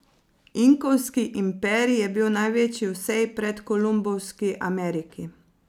Inkovski imperij je bil največji v vsej predkolumbovski Ameriki.